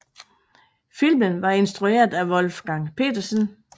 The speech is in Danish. Filmen var instrueret af Wolfgang Petersen